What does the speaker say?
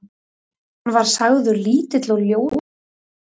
Hann var sagður lítill og ljótur.